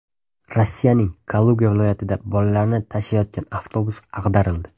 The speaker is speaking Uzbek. Rossiyaning Kaluga viloyatida bolalarni tashiyotgan avtobus ag‘darildi.